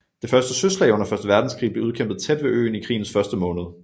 Det første søslag under første verdenskrig blev udkæmpet tæt ved øen i krigens første måned